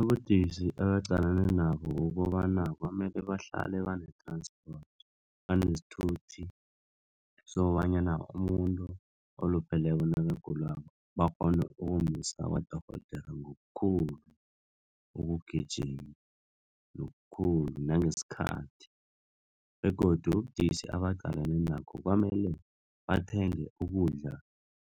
Ubudisi ebaqalane nabo kukobana kwamele bahlale bane banenesithuthi, sokobanyana umuntu olupheleko nakagulako bakghone ukumusa kwadorhodera ngokukhulu ukugijma nangesikhathi begodu ubudisi abaqalene nakho kwamele bathenge ukudla